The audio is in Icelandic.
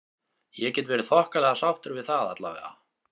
Ég get verið þokkalega sáttur við það allavega.